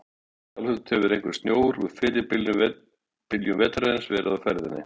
Sjálfsagt hefur einhver snjór úr fyrri byljum vetrarins verið á ferðinni.